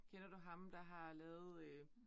Kender du ham der har lavet øh